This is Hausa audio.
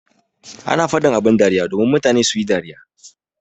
Ana faɗin abin dariya domin mutane suyi dariya.